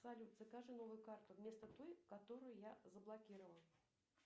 салют закажи новую карту вместо той которую я заблокировала